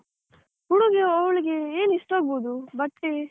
ಉಡುಗೆ ಅವಳಿಗೆ ಏನು ಇಷ್ಟ ಆಗ್ಬಹುದು? ಬಟ್ಟೆ?